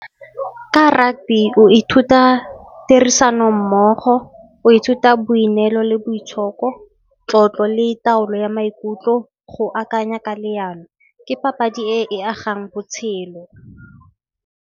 Ka rugby o ithuta tirisano mmogo, o ithuta boineelo le boitshoko, tlotlo le taolo ya maikutlo. Go akanya ka leano ke papadi e e agang botshelo.